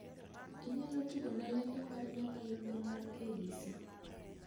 Inyalo tugona lendo mar nyakalondo mar k.b.c